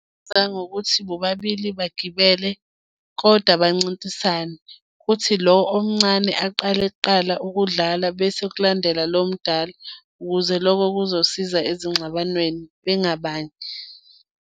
ngokuthi bobabili bagibele kodwa bancintisane. Kuthi lo omncane aqale kuqala ukudlala bese kulandela lo omdala, ukuze loko kuzosiza ezingxabanweni bengabangi.